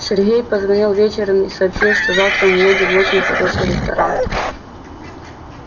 сергей позвонил вечером и сообщил что завтра мы едем в очень хороший ресторан